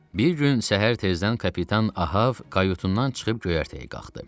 Bir gün səhər tezdən kapitan Ahab qayutundan çıxıb göyərtəyə qalxdı.